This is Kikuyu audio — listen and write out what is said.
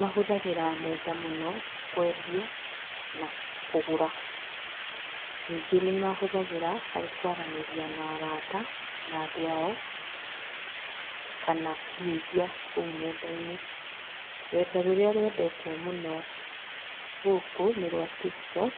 Mahũthagĩra nenda mũno kwendia na kũgũra. Ningĩ nĩ mahũthagĩra harĩ kwaria na arata na andũ ao, kana kũhujia kũu nenda-inĩ. Rurenda rũrĩa rũendetwo mũno gũkũ nĩ rwa Tiktok